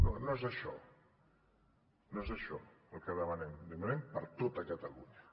no no és això no és això el que demanem demanem per a tota catalunya